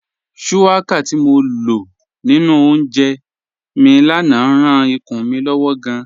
Shuwaka ti mo lọ ninu ọ̀únjẹ́ mi lánà ráan ìkùn mi lọ́wọ̀ gáàn.